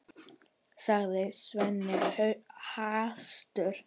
sagði Svenni hastur.